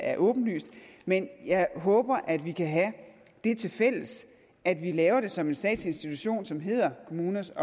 er åbenlyst men jeg håber at vi kan have det tilfælles at vi laver det som en statslig institution som hedder kommuners